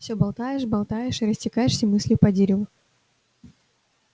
все болтаешь болтаешь и растекаешься мыслью по древу